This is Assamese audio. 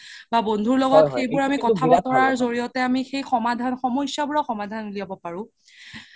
বা বন্ধুৰ লগত সেইবোৰ আমি জৰিয়তে আমি সেই সামাধান সমাশ্যাৰ সামাধান উলিয়াব পাৰো